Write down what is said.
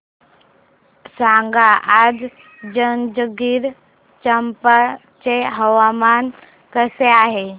सांगा आज जंजगिरचंपा चे हवामान कसे आहे